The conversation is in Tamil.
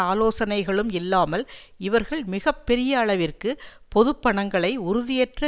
ஆலோசனைகளும் இல்லாமல் இவர்கள் மிக பெரிய அளவிற்கு பொதுப்பணங்களை உறுதியற்ற